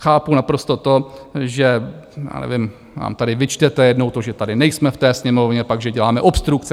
Chápu naprosto to, že... já nevím, nám tady vyčtete jednou to, že tady nejsme v té Sněmovně, pak že děláme obstrukce.